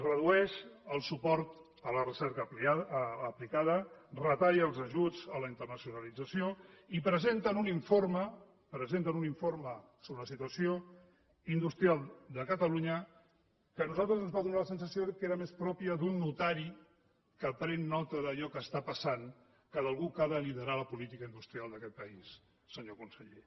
redueix el suport a la recerca aplicada retalla els ajuts a la internacionalització i presenten un informe presenten un informe sobre la situació industrial de catalunya que a nosaltres ens va donar la sensació que era més propi d’un notari que pren nota d’allò que està passant que d’algú que ha de liderar la política industrial d’aquest país senyor conseller